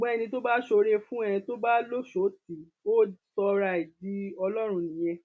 ṣùgbọn ẹni tó bá ṣoore fún ẹ tó bá lọṣọọ tí ì ò sọ ara ẹ di ọlọrun nìyẹn